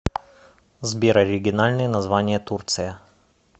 сбер оригинальное название турция